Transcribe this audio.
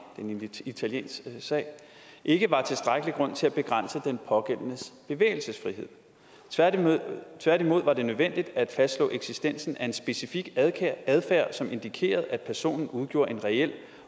en italiensk sag ikke var tilstrækkelig grund til at begrænse den pågældendes bevægelsesfrihed tværtimod tværtimod var det nødvendigt at fastslå eksistensen af en specifik adfærd som indikerede at personen udgjorde en reel